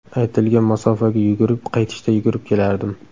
Aytilgan masofaga yugurib, qaytishda yurib kelardim.